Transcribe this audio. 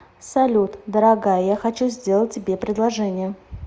салют дорогая я хочу сделать тебе предложение